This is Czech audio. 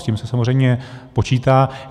S tím se samozřejmě počítá.